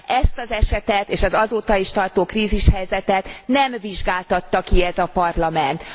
Ezt az esetet és az azóta is tartó krízishelyzetet nem vizsgáltatta ki ez a Parlament.